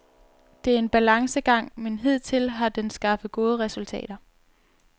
Det er en balancegang, men hidtil har den skaffet gode resultater.